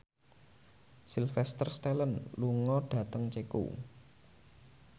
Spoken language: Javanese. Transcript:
Sylvester Stallone lunga dhateng Ceko